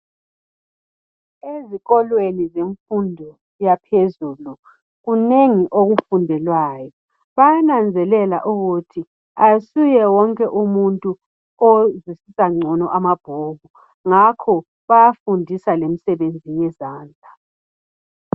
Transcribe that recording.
Ezikolweni zemfundo yaphezulu kunengi okufundelwayo bayananzelela ukuthi asuyewonke umuntu ozwisisa ngcono amabhuku ngakho bayafundiswa lemisebenzi yezandla